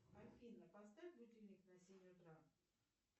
афина поставь будильник на семь утра